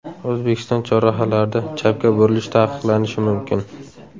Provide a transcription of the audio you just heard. O‘zbekiston chorrahalarida chapga burilish taqiqlanishi mumkin.